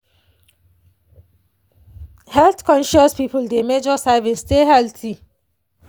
health-conscious people dey measure servings stay healthy.